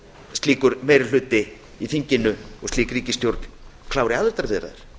slíkur meiri hluti í þinginu slík ríkisstjórn klári aðildarviðræður